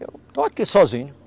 Eu estou aqui sozinho.